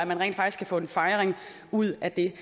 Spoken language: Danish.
man rent faktisk kan få en fejring ud af det